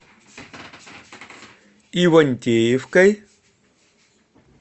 ивантеевкой